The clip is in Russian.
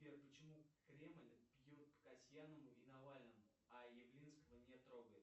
сбер почему кремль бьет по касьянову и навальному а явлинского не трогает